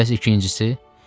Bəs ikincisi?